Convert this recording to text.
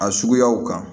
A suguyaw kan